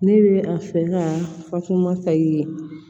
Ne bɛ a fɛ ka fatumata ye